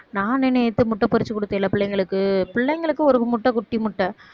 நானு நேத்து முட்டை பொறிச்சு குடுத்தேன்ல பிள்ளைங்களுக்கு, பிள்ளைங்களுக்கு ஒரு முட்டை குட்டி முட்டை